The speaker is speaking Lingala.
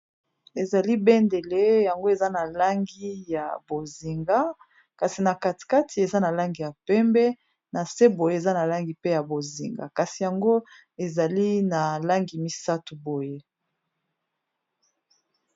Ezali bendele yango eza na langi ya bozinga kasi na katikati eza na langi ya pembe na se boye eza na langi pe ya bozinga kasi yango ezali na langi misato boye.